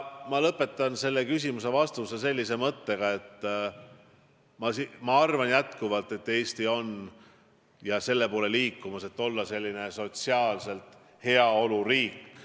Ma lõpetan selle küsimuse vastuse sellise mõttega: ma arvan jätkuvalt, et Eesti on selle poole liikumas, et olla sotsiaalselt heaoluriik.